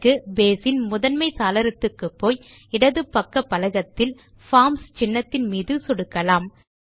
இதற்கு நாம் பேஸ் இன் முதன்மை சாளரத்துக்கு போய் இடது பக்க பலகத்தில் பார்ம்ஸ் சின்னத்தின் மீது சொடுக்கலாம்